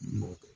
N m'o kɛ